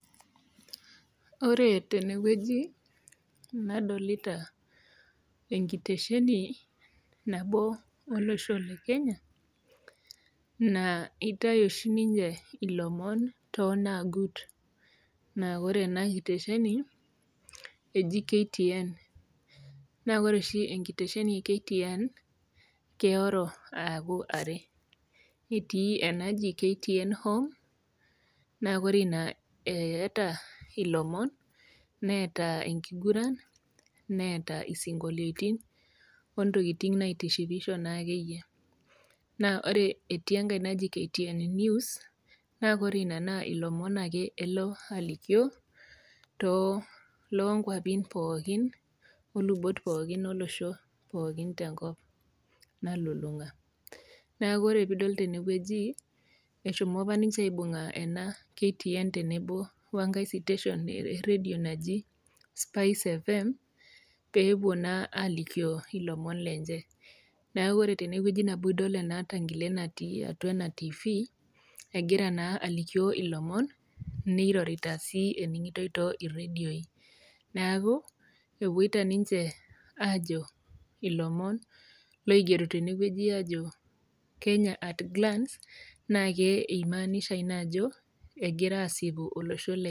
Ore tenewueji nadolita enkitesheni nabo olosho le kenya naa eitai oshi ninye ilomon toonagut naa ore ena kitesheni eji KTN naa kore oshi enkitesheni e KTN keoro aaku are etii enaji KTN home naa kore ina eh eeta ilomon neeta enkiguran neeta isinkolioitin ontokiting naitishipisho naakeyie naa ore etii enkae naji KTN news naa kore ina naa ilomon ake elo alikio too lonkuapin pookin olubot pookin olosho tenkop nalulung'a naa kore piidol tenewueji eshomo apa ninche aibung'a kuna KTN t enebo wenkae siteshon erredio naji spice fm peepuo naa alikio ilomon lenche naku ore tenewueji nabo idol ena tankile natii atua ena tifii egira naa ailikio ilomon nirorita sii ening'itoi too irredioi neaku epuoita ninche aajo ilomon loigero tenewueji aajo kenya at glance naake eimaanisha ina ajo egira asipu olosho le.